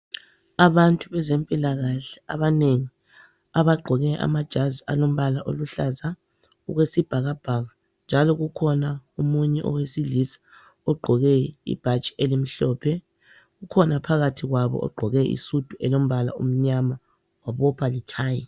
Abantu bezempilakahle abanengi abagqoke amajazi alombala oluhlaza okwesibhakabhaka njalo kukhona omunye owesilisa ogqoke ibhatshi elimhlophe .Kukhona phakathi kwabo ogqoke isudu elombala omnyama wabopha lethayi